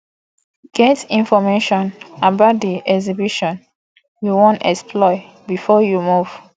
get information about di exhibition you won explore before you move